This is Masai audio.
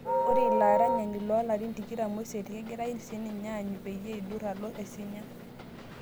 Ore ilo aranyani loo larin tikitam osiet kegirae ninye aanyu peyie eiduur alo Isinya